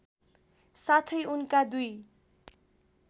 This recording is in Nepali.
साथै उनका दुई